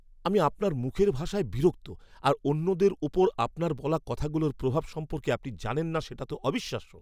আমি আপনার মুখের ভাষায় বিরক্ত আর অন্যদের ওপর আপনার বলা কথাগুলোর প্রভাব সম্পর্কে আপনি জানেন না সেটা তো অবিশ্বাস্য।